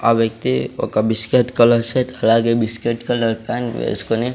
ఆ వ్యక్తి ఒక బిస్కెట్ కలర్ సెట్ అలాగే బిస్కెట్ కలర్ ప్యాంట్ వేస్కొని--